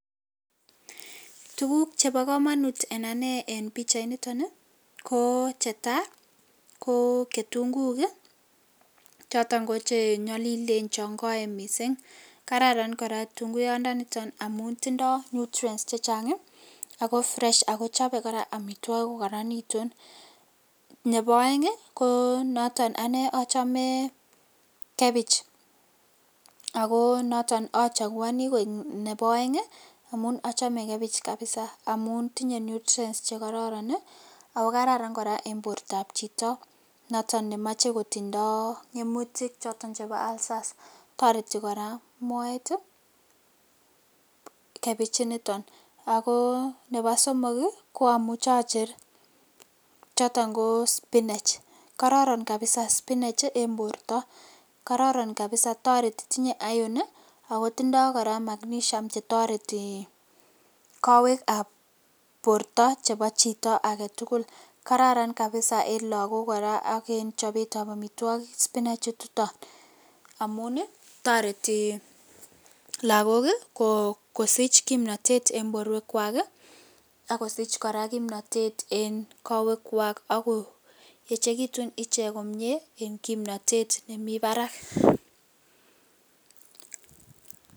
Tuguk chebo komonut en anee en pichainiton ii koo netaa koo kitunguik ii choton che nyolilen chon koen misink kararan koraa kitunguyoniton amun tindo nutrients ii ako fresh ako chobe koraa amitwokik kokoronitun, nebo oeng ii ko noton anee ochomee kebich ako noton ochokuoni koik nebo oeng ii amun ochome kebich kabisa amun tinye nutrients chekororon ii ako kararan koraa en bortab chito noton nemoche kotindoo koimutik choton chebo ulcers kotoreti koraa moet ii kebich initon, sko nebo somok ii omuche ocher choton koo spinach kororon kabisa spinach en borto kororon kabisa toreti tinye iron ako tindo koraa [ca]magnesium chetoreti kowek ap borto chebo chito agetugul kararan kabisa en lagok koraa ak en chobetab omitwogik spinach[cs[ ichuton amun toreti lagok kosich kimnotet en boruekwak ii ak kosich koraa kimnotet en kowekwak ak koyechekitun ichek komie en kimnotet nemi barak.